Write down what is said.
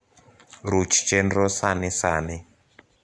ruch chenro sani sani